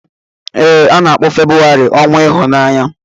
Ee, a na-akpọ Febrụwarị ọnwa ịhụnanya.